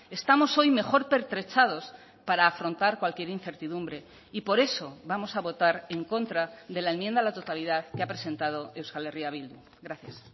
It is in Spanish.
estamos hoy mejor pertrechados para afrontar cualquier incertidumbre y por eso vamos a votar en contra de la enmienda a la totalidad que ha presentado euskal herria bildu gracias